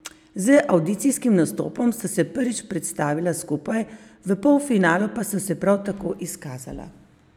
Z avdicijskim nastopom sta se prvič predstavila skupaj, v polfinalu pa sta se prav tako izkazala.